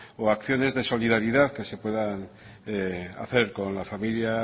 o acciones de solidaridad que se puedan hacer con la familia